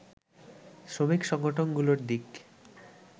শ্রমিক সংগঠনগুলোর দিক